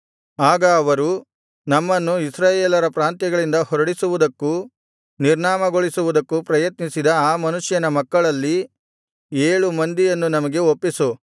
ಆಗ ಅವರು ನಮ್ಮನ್ನು ಇಸ್ರಾಯೇಲರ ಪ್ರಾಂತ್ಯಗಳಿಂದ ಹೊರಡಿಸುವುದಕ್ಕೂ ನಿರ್ನಾಮಗೊಳಿಸುವುದಕ್ಕೂ ಪ್ರಯತ್ನಿಸಿದ ಆ ಮನುಷ್ಯನ ಮಕ್ಕಳಲ್ಲಿ ಏಳು ಮಂದಿಯನ್ನು ನಮಗೆ ಒಪ್ಪಿಸು